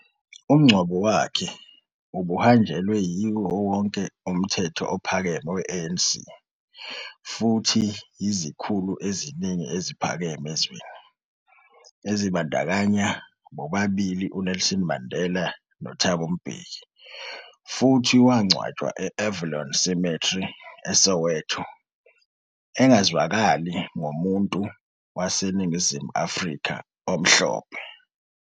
Umngcwabo wakhe ubuhanjelwe yiwo wonke umthetho ophakeme we-ANC, futhi yizikhulu eziningi eziphakeme ezweni, ezibandakanya bobabili uNelson Mandela noThabo Mbeki, futhi wangcwatshwa e- Avalon Cemetery, eSoweto, engazwakali, ngomuntu waseNingizimu Afrika omhlophe..